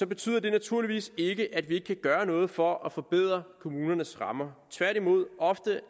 betyder det naturligvis ikke at vi ikke kan gøre noget for at forbedre kommunernes rammer tværtimod